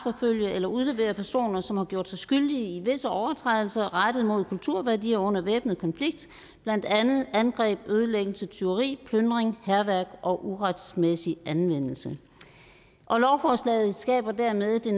eller udlevere personer som har gjort sig skyldige i visse overtrædelser rettet mod kulturværdier under væbnet konflikt blandt andet angreb ødelæggelse tyveri plyndring hærværk og uretmæssig anvendelse og lovforslaget skaber dermed det